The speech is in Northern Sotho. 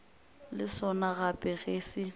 le sona gape ge se